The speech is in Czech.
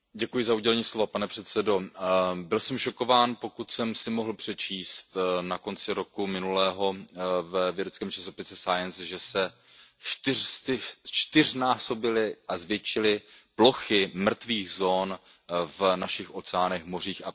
Byl jsem šokován, pokud jsem si mohl přečíst na konci minulého roku ve vědeckém časopise že se zčtyřnásobily a zvětšily plochy mrtvých zón v našich oceánech, mořích a především pobřežních oblastech.